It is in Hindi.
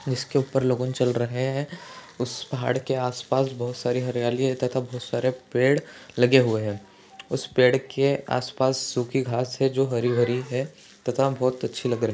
इसके ऊपर लोगोन चल रहै है उस पहाड़ के आसपास बहुत सारी हरियाली है तथा बहुत सारे पेड़ लगे हुए है उस पेड़ के आसपास सुकी घास है जो हरी भरी है तथा बहुत अच्छी लग रही --